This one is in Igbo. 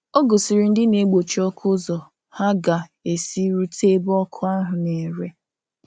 Ọ gòsìrì ndị na-egbochi ọkụ ụzọ ha ga-esi rute ebe ọkụ ahụ̀ na-ere.